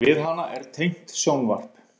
Við hana er tengt sjónvarp.